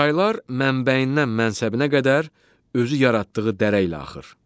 Çaylar mənbəyindən mənsəbinə qədər özü yaratdığı dərə ilə axır.